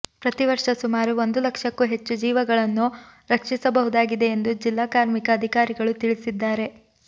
ಪ್ರತಿ ವರ್ಷ ಸುಮಾರು ಒಂದು ಲಕ್ಷಕ್ಕೂ ಹೆಚ್ಚು ಜೀವಗಳನ್ನು ರಕ್ಷಿಸಬಹುದಾಗಿದೆ ಎಂದು ಜಿಲ್ಲಾ ಕಾರ್ಮಿಕ ಅಧಿಕಾರಿಗಳು ತಿಳಿಸಿದ್ದಾರೆ